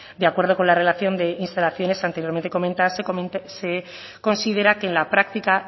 de acuerdo con la relación de instalaciones anteriormente comentada se considera que en la práctica